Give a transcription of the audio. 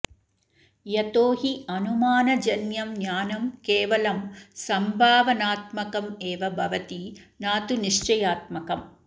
यतो हि अनुमानजन्यं ज्ञानं केवलं सम्भावनात्मकमेव भवति न तु निश्चयात्मकम्